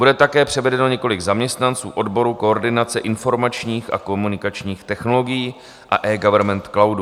Bude také převedeno několik zaměstnanců odborů koordinace informačních a komunikačních technologií a eGovernment cloudu.